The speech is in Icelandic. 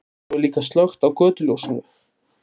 Svo er líka slökkt á götuljósinu.